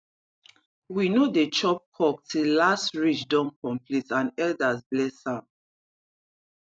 we no dey chop cock till last ridge don complete and elders bless am